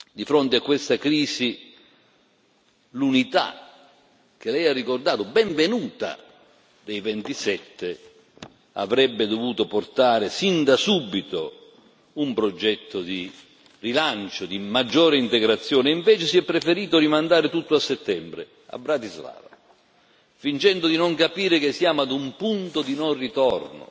Di fronte a questa crisi l'unità che lei ha ricordato, benvenuta, dei 27 avrebbe dovuto portare, sin da subito, un progetto di rilancio, di maggiore integrazione e invece si è preferito rimandare tutto a settembre, a Bratislava, fingendo di non capire che siamo ad un punto di non ritorno.